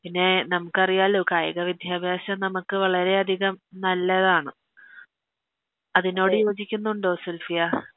പിന്നെ നമുക്കറിയാലോ കായിക വിദ്യാഭ്യാസം നമക്ക് വളരെയധികം നല്ലതാണ് അതിനോട് യോജിക്കുന്നുണ്ടോ സുൽഫിയ